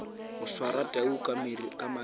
go swara tau ka mariri